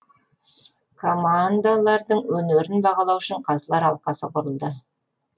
командылардың өнерін бағалау үшін қазылар алқасы құрылды